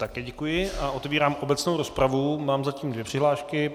Také děkuji a otevírám obecnou rozpravu, mám zatím dvě přihlášky.